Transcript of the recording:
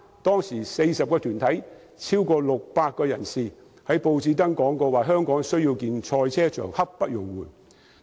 當時有40個團體超過600人在報章刊登廣告，提出香港需要興建賽車場，刻不容緩。